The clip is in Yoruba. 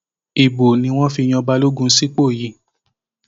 ibo ni wọn fi yan balógun sípò yìí